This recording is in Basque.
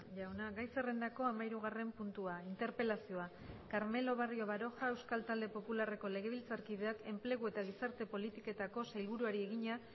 jauna gai zerrendako hamahirugarren puntua interpelazioa carmelo barrio baroja euskal talde popularreko legebiltzarkideak enplegu eta gizarte politiketako sailburuari egina